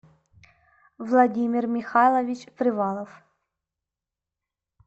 владимир михайлович привалов